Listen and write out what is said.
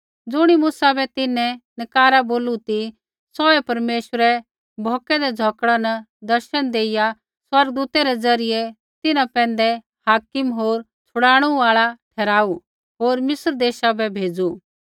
ज़ुणी मूसा बै तिन्हैं नकारा बोलू ती सौहै परमेश्वरै भौकदै झ़ौकड़ा न दर्शन देइआ स्वर्गदूतै रै ज़रियै तिन्हां पैंधै हाकिम होर छड़ाणू आल़ा ठहराऊ होर मिस्र देशा बै भेज़ू